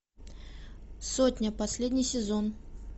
сотня последний сезон